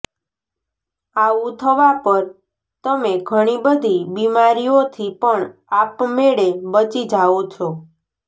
આવુ થવા પર તમે ઘણીબધી બિમારીઓથી પણ આપમેળે બચી જાઓ છો